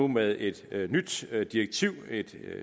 med et nyt direktiv et